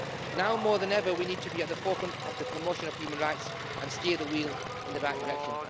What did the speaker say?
Now, more than ever, we need to be at the forefront of the promotion of human rights and steer the wheel in the right direction.